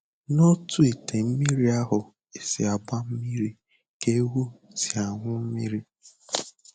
N'otu ite mmiri ahụ e si agba mmiri ka ewu si aṅụ mmiri